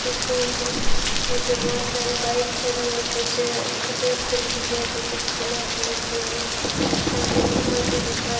हुसूम नीचे बहुत सारी बाइक खड़ी है कुछ सफेद कलर की है तो कुछ ब्लैक कलर की है सामने कपड़ों की दुकान --